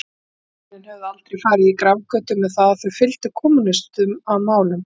Þau hjónin höfðu aldrei farið í grafgötur með að þau fylgdu kommúnistum að málum.